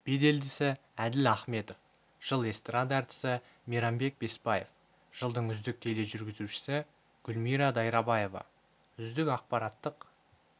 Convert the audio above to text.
беделдісі әділ аіметов жыл эстарада әртісі мейрамбек беспаев жылдың үздік тележүргізушісі гүмира дайрабаева үздік ақпараттық